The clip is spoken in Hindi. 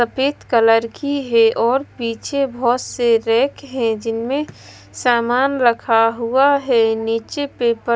सफेद कलर की है और पीछे बहुत से रैक है जिनमें सामान रखा हुआ है नीचे पेपर--